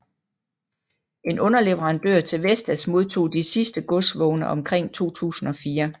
En underleverandør til Vestas modtog de sidste godsvogne omkring 2004